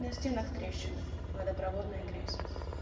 на стенах трещины водопроводная грязь